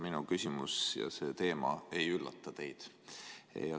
Minu küsimuse teema ei üllata teid.